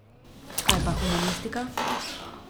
Kaj pa humanistika?